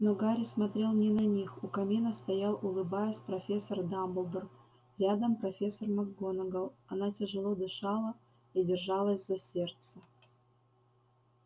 но гарри смотрел не на них у камина стоял улыбаясь профессор дамблдор рядом профессор макгонагалл она тяжело дышала и держалась за сердце